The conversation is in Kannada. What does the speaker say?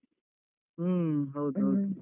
ಹ್ಮ ಹೌದ್